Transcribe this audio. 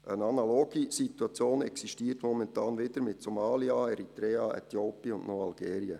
Eine analoge Situation existiert momentan wieder mit Somalia, Eritrea, Äthiopien und Algerien.